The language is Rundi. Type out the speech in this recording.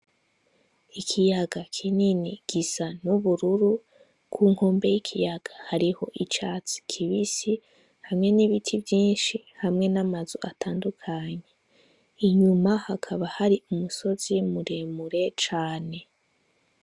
Ikiyaga kinini gisa n'ubururu kunkombe z'ikiyaga hariho icatsi kibisi hamwe nibibti vyishi hamwe namazu atandukanye inyuma hakaba hari umusozi muremure cane.